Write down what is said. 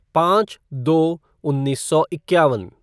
पाँच दो उन्नीस सौ इक्यावन